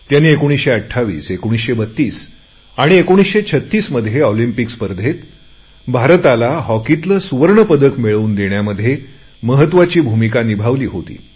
त्यांनी 1928 1932 1936 मध्ये ऑलिंम्पिक खेळात भारताला हॉकीतले सुवर्ण पदक मिळवून देण्यामध्ये महत्त्वाची भूमिका निभावली होती